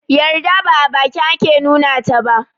Yarda ba a baki ake nuna taba